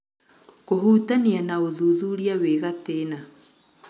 Kũhutania na ũthuthuria wĩ-gatĩna.